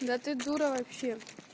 да ты дура вообще